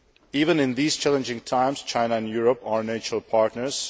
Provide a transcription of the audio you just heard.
Even in these challenging times, China and Europe are natural partners.